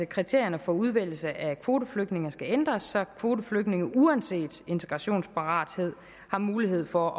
kriterierne for udvælgelse af kvoteflygtninge skal ændres så kvoteflygtninge uanset integrationsparathed har mulighed for